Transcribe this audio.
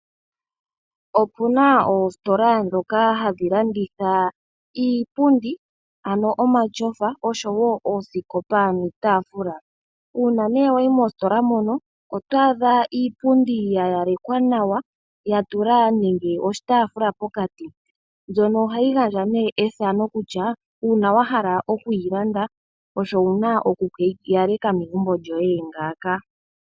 Opuna oositola dhoka hadhi landitha iipundi ano omatyofa osho wo oosikopa niitaafula. Uuna nee wayi mositola mono oto adha iipundi ya yalekwa nawa, ya tula nenge oshitaafula pokati. Mbyono ohayi gandja nduno ethano kutya uuna wa hala okuyi landa osho wo wuna oku keyi yaleka megumbo lyoye yili ngaaka.